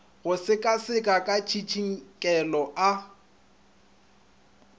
go sekaseka ka tsitsinkelo a